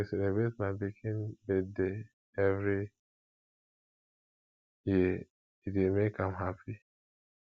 we dey celebrate my pikin birthday every year e dey make am happy